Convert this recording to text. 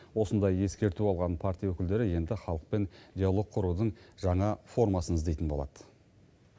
осындай ескерту алған партия өкілдері енді халықпен диалог құрудың жаңа формасын іздейтін болады